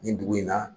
Nin dugu in na